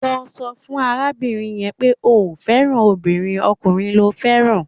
Lọ sọ fún arábìnrin yẹn pé o ò fẹ́ràn obìnrin, ọkùnrin lo fẹ́ràn